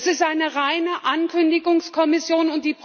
Das ist eine reine Ankündigungskommission!